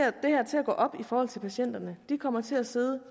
her til at gå op i forhold til patienterne nu kommer til at sidde